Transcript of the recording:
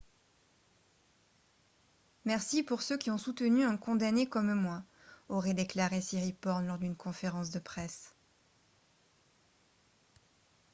« merci pour ceux qui ont soutenu un condamné comme moi » aurait déclaré siriporn lors d'une conférence de presse